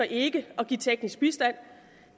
ikke at give teknisk bistand